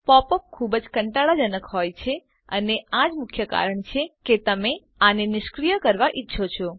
pop up ખુબ જ કંટાળાજનક હોય છે અને આ જ મુખ્ય કારણ છે કે તમે આને નિષ્ક્રિય કરવા ઈચ્છો છો